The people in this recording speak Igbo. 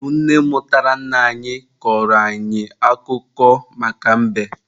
Ọ bụ nne mụtara nna anyị kọrọ anyị akụkọ maka mbe.